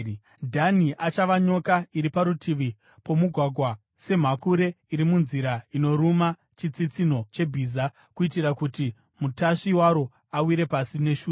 Dhani achava nyoka iri parutivi pomugwagwa, semhakure iri munzira, inoruma chitsitsinho chebhiza kuitira kuti mutasvi waro awire pasi neshure.